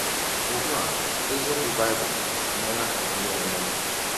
Ụgbụ a, eziọkwụ Baịbụl emeela ka m nwere ọnwe m! ”